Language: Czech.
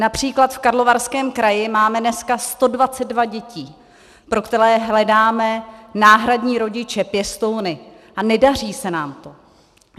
Například v Karlovarském kraji máme dneska 122 dětí, pro které hledáme náhradní rodiče, pěstouny a nedaří se nám to.